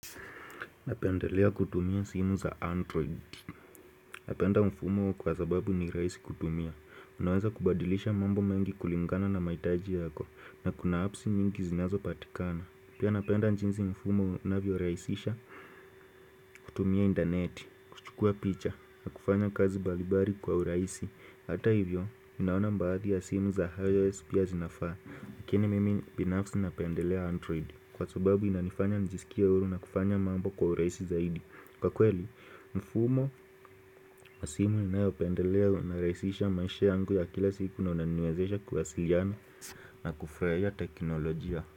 Napendelea kutumia simu za android Napenda mfumo kwa sababu ni rahisi kutumia Unaweza kubadilisha mambo mengi kulingana na mahitaji yako na kuna apps mingi zinazo patikana Pia napenda jinsi mfumo unavyorahisisha kutumia internet, kuchukua picha na kufanya kazi mbalimbali kwa urahisi Hata hivyo, minaona baadhi ya simu za IOS pia zinafaa lakini mimi binafsi napendelea android Kwa sababu inanifanya nijisikie huru na kufanya mambo kwa urahisi zaidi Kwa kweli, mfumo, masimu ninayopendelewa huniraisisha maisha yangu ya kila siku na unaniwezesha kuwasiliana na kufurahia teknolojia.